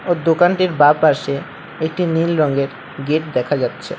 ও দোকানটির বাঁ পাশে একটি নীল রঙের গেট দেখা যাচ্ছে।